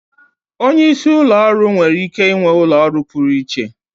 Onye isi ụlọ ọrụ nwere ike ịnwe ụlọ ọrụ pụrụ iche.